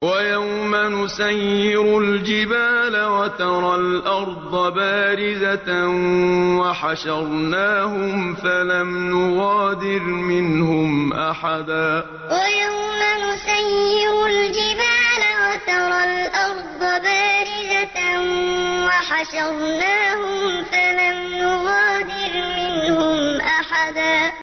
وَيَوْمَ نُسَيِّرُ الْجِبَالَ وَتَرَى الْأَرْضَ بَارِزَةً وَحَشَرْنَاهُمْ فَلَمْ نُغَادِرْ مِنْهُمْ أَحَدًا وَيَوْمَ نُسَيِّرُ الْجِبَالَ وَتَرَى الْأَرْضَ بَارِزَةً وَحَشَرْنَاهُمْ فَلَمْ نُغَادِرْ مِنْهُمْ أَحَدًا